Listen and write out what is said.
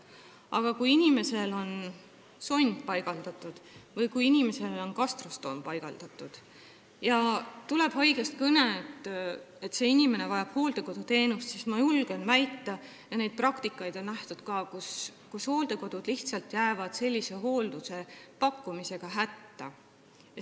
Aga kui inimesele on paigaldatud sond või gastrostoom ja haiglast tuleb kõne, et see inimene vajab hooldekoduteenust, siis ma julgen väita, seda on praktikas nähtud, et hooldekodud jäävad sellise hoolduse pakkumisega lihtsalt hätta.